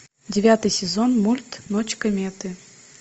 девятый сезон мульт ночь кометы